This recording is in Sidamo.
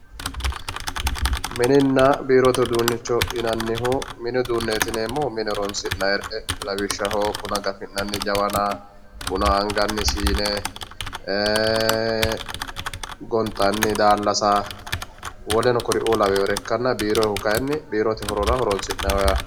mininna biirote uduunicho yinannihu mini uduuneti yineemohu mine horonsi'nayre lawishshaho buna gafi'nanni jawana buna anganni siine gonxanni daallasa woleno kuri"uu laweyore ikkanna biiroyihu kayiini biirote horo horonsinayho yaate